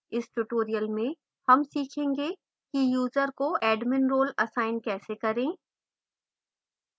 इस tutorial में हम सीखेंगे कि user को admin role असाइन कैसे करें